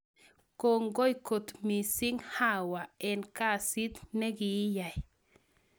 Kongoi kot missing Hawa en kasit negiiyai